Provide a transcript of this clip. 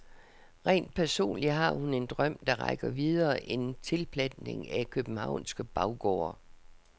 Rent personligt har hun en drøm, der rækker videre end tilplantning af københavnske baggårde.